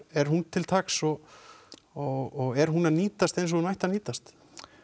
er hún til taks og og er hún að nýtast eins og hún ætti að nýtast